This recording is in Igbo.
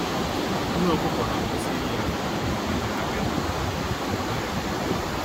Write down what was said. Nne ọkụkọ na kwụsị iyi akwa mgbe ha mere agadi maọbụ mgbe ha rịara ọrịa